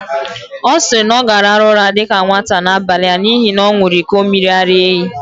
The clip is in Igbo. Ọ siri, na ọ gāraru ụra dika nwata n'abali a n'ihi na ọ ṅuru iko miri-ara-ehi